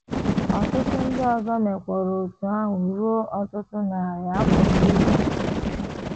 Ọtụtụ ndị ọzọ mekwara otú ahụ ruo ọtụtụ narị afọ n’ihu.